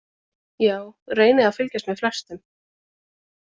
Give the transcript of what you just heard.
Já reyni að fylgjast með sem flestum.